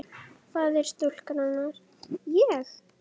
Faðir stúlkunnar: Ég?